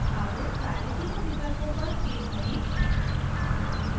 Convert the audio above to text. अब सारे तीनों विकल्पों पर क्लिक करें: